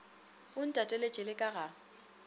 o ntateletše le ka ga